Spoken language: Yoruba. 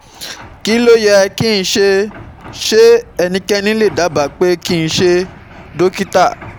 KÍ LÓ YẸ kí n ṣe? Ṣé ẹnikẹ́ni lè dábàá pé kí n ṣe dókítà?